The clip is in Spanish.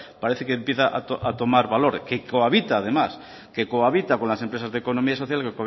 parece que empieza ahora a tomar valor que cohabita además que cohabita con las empresas de economía social